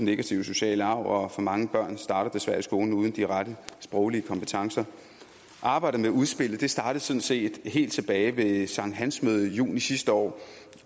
negative sociale arv og for mange børn starter desværre i skolen uden de rette sproglige kompetencer arbejdet med udspillet startede sådan set helt tilbage ved et sankthansmøde i juni sidste år